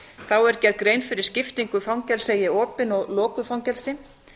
þá er gerð grein fyrir skiptingu fangelsa í opin og lokuð fangelsi